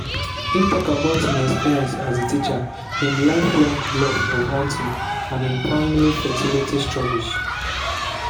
im also tok about im experience as a teacher im lifelong love of hunting and im family fertility struggles.